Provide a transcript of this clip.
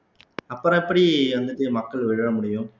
அப்புறம் எப்படி வந்துட்டு மக்கள் விழ முடியும்